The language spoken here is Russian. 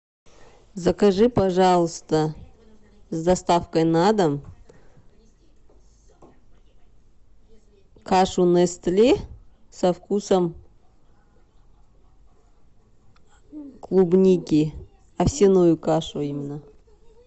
закажи пожалуйста с доставкой на дом кашу нестле со вкусом клубники овсяную кашу именно